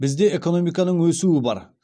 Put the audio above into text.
бізде экономиканың өсуі бар